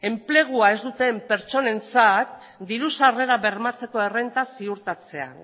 enplegua ez duten pertsonentzat diru sarrera bermatzeko errenta ziurtatzea